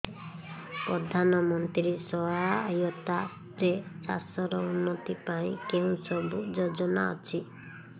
ପ୍ରଧାନମନ୍ତ୍ରୀ ସହାୟତା ରେ ଚାଷ ର ଉନ୍ନତି ପାଇଁ କେଉଁ ସବୁ ଯୋଜନା ଅଛି